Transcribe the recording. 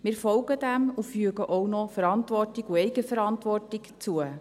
Wir folgen dem und fügen auch noch Verantwortung und Eigenverantwortung hinzu.